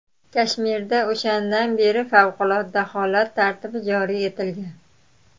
Kashmirda o‘shandan beri favqulodda holat tartibi joriy etilgan.